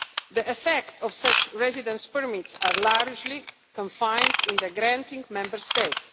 The effects of such residence permits are largely confined in the granting Member State.